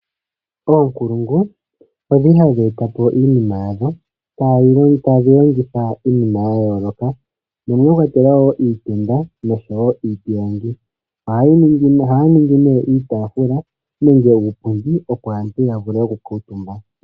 Oonkulungu odhi li ha dhi e ta po iinima yadho tadhi longitha iinima ya yooloka mwa kwatelwa iitenda nenge iipilangi. Ohaya ningi nduno iitaafula nenge iipundi opo aantu ya vule oku kuutumba.